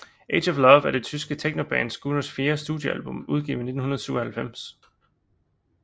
Age of Love er det tyske technoband Scooters fjerde studiealbum udgivet i 1997